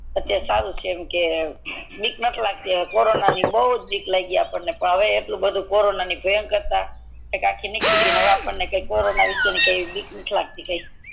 જેમકે બીક નથી લગતી હવે કોરોના ની પેલા બૌજ બીક લાગી કોરોના ની એવી ભયંકર તા એક આખી નિકડી ગઈ ને હવે આપડને કોરોના ની એવી કી બીક નથી લગતી કૈયા